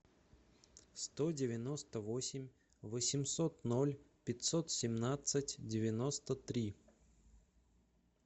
сто девяносто восемь восемьсот ноль пятьсот семнадцать девяносто три